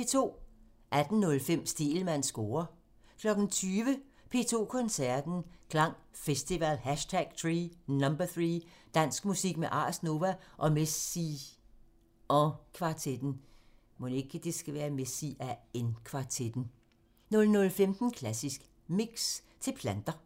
18:05: Stegelmanns score (tir) 20:00: P2 Koncerten – Klang Festival #3 – Dansk musik med Ars Nova og Messian kvartetten 00:15: Klassisk Mix – til planter